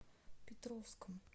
петровском